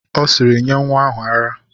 Ọ sịịrị, nye nwa ahụ ara!